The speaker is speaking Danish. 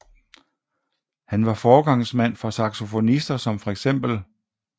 Han var forgangsmand for saxofonister som feks